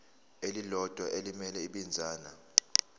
elilodwa elimele ibinzana